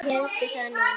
Þeir héldu það nú.